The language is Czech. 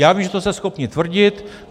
Já vím, že to jste schopni tvrdit.